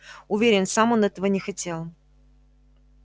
уверен сам он этого не хотел